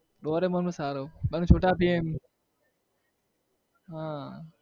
doraemon પણ સારું પણ છોટા ભીમ હ